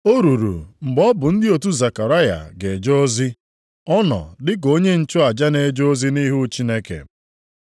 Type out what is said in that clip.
O ruru mgbe ọ bụ ndị otu Zekaraya ga-eje ozi, ọ nọ dịka onye nchụaja na-eje ozi nʼihu Chineke.